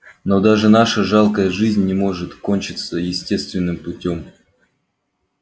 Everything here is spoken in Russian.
но даже наша жалкая жизнь не может кончиться естественным путём